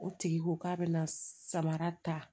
O tigi ko k'a bɛna samara ta